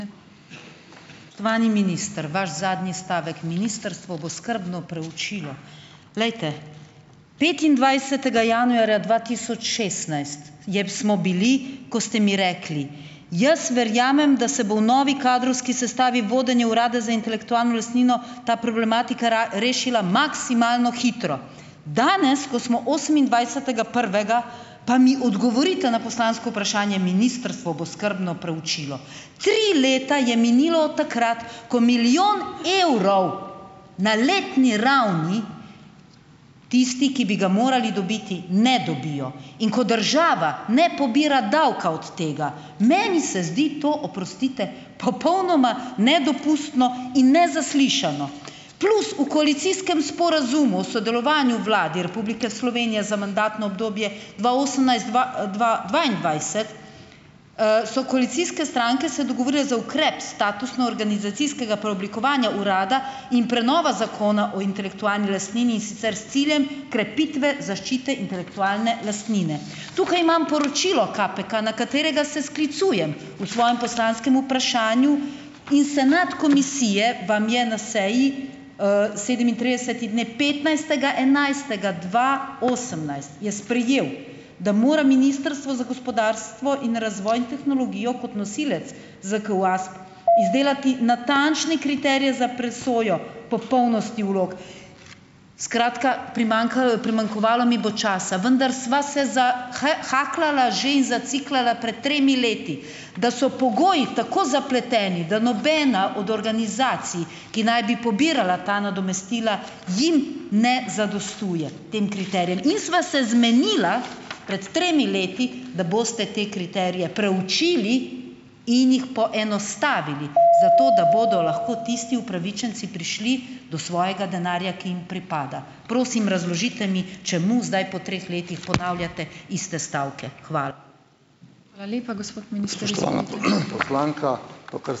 Spoštovani minister! Vaš zadnji stavek: "Ministrstvo bo skrbno preučilo ..." Glejte, petindvajsetega januarja dva tisoč šestnajst je smo bili, ko ste mi rekli: "Jaz verjamem, da se bo v novi kadrovski sestavi vodenje urada za intelektualno lastnino ta problematika rešila maksimalno hitro!" Danes, ko smo osemindvajsetega prvega, pa mi odgovorite na poslansko vprašanje: "Ministrstvo bo skrbno preučilo ..." Tri leta je minilo od takrat, ko milijon evrov na letni ravni tisti, ki bi ga morali dobiti, ne dobijo, in ko država ne pobira davka od tega. Meni se zdi to, oprostite, popolnoma nedopustno in nezaslišano. Plus, v koalicijskem sporazumu o sodelovanju Vladi Republike Slovenije za mandatno obdobje dva osemnajst-dva, dva dvaindvajset, so koalicijske stranke se dogovorile za ukrep statusno-organizacijskega preoblikovanja urada in prenova Zakona o intelektualni lastnini, in sicer s ciljem krepitve zaščite intelektualne lastnine. Tukaj imam poročilo KPK, na katerega se sklicujem v svojem poslanskem vprašanju in senat komisije vam je na seji, sedemintrideseti, ne, petnajstega enajstega dva osemnajst, je sprejel, da mora Ministrstvo za gospodarstvo in razvoj in tehnologijo kot nosilec ZKUASP izdelati natančne kriterije za presojo popolnosti vlog. Skratka, primanjkalo primanjkovalo mi bo časa, vendar sva se za hakljala že in "zaciklala" pred tremi leti - da so pogoji tako zapleteni, da nobena od organizacij, ki naj bi pobirala ta nadomestila, jim ne zadostuje, tem kriterijem, in sva se zmenila, pred tremi leti, da boste te kriterije preučili in jih poenostavili, zato, da bodo lahko tisti upravičenci prišli do svojega denarja, ki jim pripada. Prosim razložite mi, čemu zdaj po treh letih ponavljate iste stavke. Hvala.